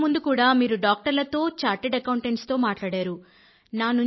అంతకు ముందు కూడా మీరు డాక్టర్లతో చార్టర్డ్ అకౌంటెంట్స్ తో మాటాడారు